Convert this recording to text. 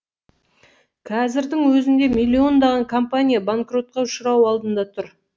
қазірдің өзінде миллиондаған компания банкротқа ұшырау алдында тұр